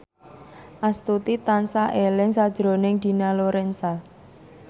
Astuti tansah eling sakjroning Dina Lorenza